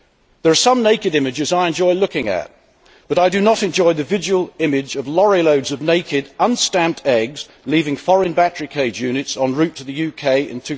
There are some naked images I enjoy looking at, but I do not enjoy the visual image of lorry loads of naked, unstamped eggs leaving foreign battery cage units en route to the UK in